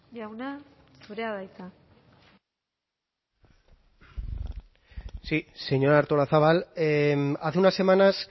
jauna zurea da hitza sí señora artolazabal hace unas semanas